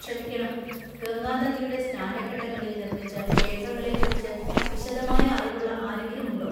ക്ഷമിക്കണം, ഗംഗാനദിയുടെ സ്നാനഘട്ടങ്ങളിൽ നിർമ്മിച്ച ക്ഷേത്രങ്ങളെ കുറിച്ച് വിശദമായ അറിവുള്ള ആരെങ്കിലും ഉണ്ടോ?